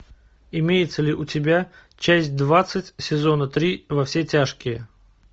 имеется ли у тебя часть двадцать сезона три во все тяжкие